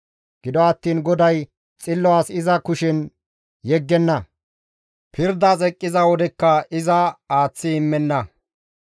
Gido attiin GODAY xillo as iza kushen yeggenna; pirdas eqqiza wodekka iza aaththi immenna.